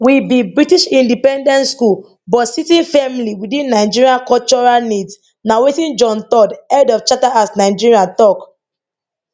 With the british independence school ut sitting firmly within Nigerian cultural needs na wetin John third head of charter house nigeria talk